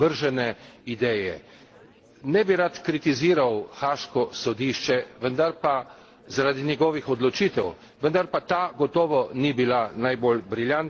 Ne bi rad kritiziral haaškega sodišča, vendar pa zaradi njegovih odločitev, vendar pa ta gotovo ni bila najbolj briljantna, bila je zgrešena.